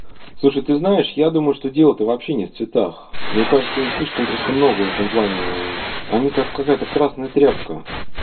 слушай ты знаешь я думаю что дело то вообще нет цветах мне кажется им слишком просто много в этом плане они как какая-то красная тряпка